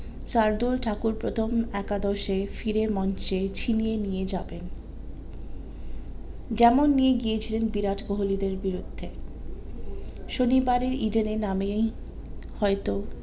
শার্দুল ঠাকুর প্রথম একাদশে ফিরে ছিনিয়ে নিয়ে যাবেন যেমন নিয়ে গিয়েছিলেন বিরাট কোহলি দের বিরুদ্ধে শনিবারে ইডেনে নামে হয়তো